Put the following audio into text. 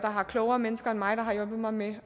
klogere mennesker end mig der har hjulpet mig med